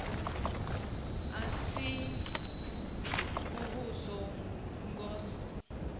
a si a muvhuso ngos